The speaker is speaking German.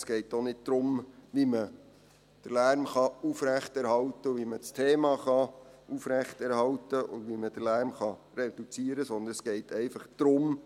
Es geht auch nicht darum, wie man den Lärm aufrechterhalten, wie man das Thema aufrechterhalten und wie man den Lärm reduzieren kann, sondern es geht einfach darum: